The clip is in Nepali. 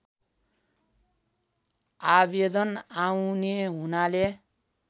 आवेदन आउने हुनाले